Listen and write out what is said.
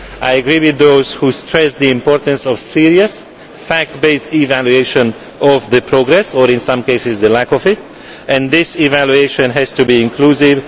I agree with those who stress the importance of a serious fact based evaluation of progress or, in some cases, the lack of it and this evaluation has to be inclusive.